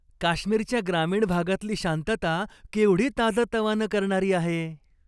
काश्मीरच्या ग्रामीण भागातली शांतता केवढी ताजंतवानं करणारी आहे.